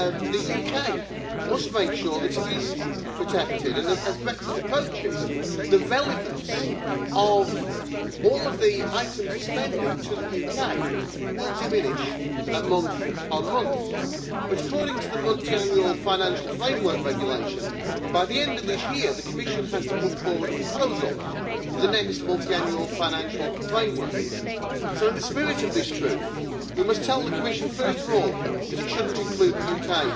The UK must make sure that it is protected, and as Brexit approaches, the relevance of all of the items of spending to the UK will diminish month on month. But according to the multiannual financial framework regulation, by the end of this year the Commission has to put forward a proposal for the next multiannual financial framework. So in the spirit of this truth we must tell the Commission, first of all, that it should of course not include the UK